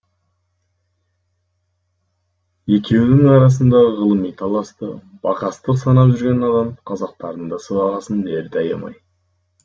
екеуінің арасындағы ғылыми таласты бақастық санап жүрген надан қазақтардың да сыбағасын берді аямай